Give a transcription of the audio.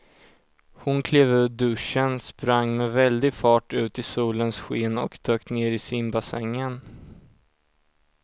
Hon klev ur duschen, sprang med väldig fart ut i solens sken och dök ner i simbassängen.